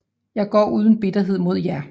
Jeg går uden bitterhed mod jer